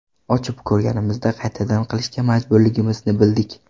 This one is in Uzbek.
Ochib ko‘rganimizda, qaytadan qilishga majburligimizni bildik.